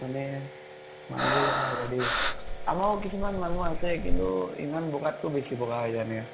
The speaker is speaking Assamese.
মানে, মানিব লগা হৈ যায় দে। আমাৰো কিছুমান মানুহ আছে। কিন্তু ইমান বʼগাত্কে বেছি বʼগা হৈ যায় এনেকা।